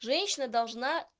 женщина должна